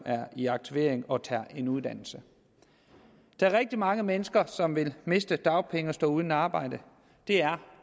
er i aktivering og tager en uddannelse der er rigtig mange mennesker som vil miste dagpenge og stå uden arbejde det er